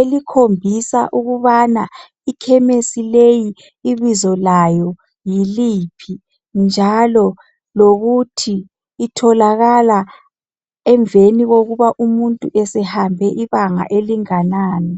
elikhombisa ukubana ikhemesi leyi ibizo layo yiliphi njalo lokuthi itholakala emveni kokuba umuntu esehambe ibanga elinganani.